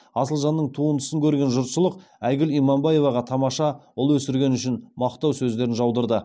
асылжанның туындысын көрген жұртшылық айгүл иманбаеваға тамаша ұл өсіргені үшін мақтау сөздерін жаудырды